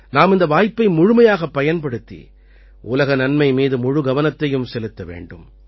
நாம் இந்த வாய்ப்பை முழுமையாகப் பயன்படுத்தி உலக நன்மை மீது முழுகவனத்தையும் செலுத்த வேண்டும்